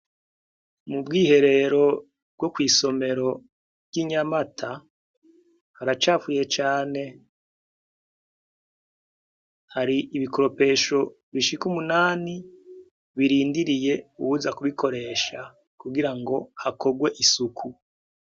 Mu bwiherero bwo kw'isomero ry'inyamata haracafuye cane hari ibikoropesho bishika umunani birindiriye uwuza kubikoresha kugira ngo hakorwe isuku.